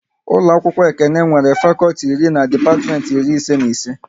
Ụlọ akwụkwọ Ekene nwere fakọlti iri na depatiment iri ise na ise